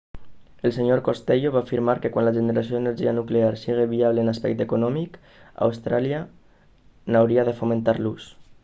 el sr costello va afirmar que quan la generació d'energia nuclear sigui viable en l'aspecte econòmic austràlia n'hauria de fomentar l'ús